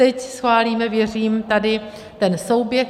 Teď schválíme, věřím, tady ten souběh.